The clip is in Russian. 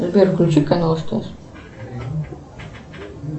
сбер включи канал стс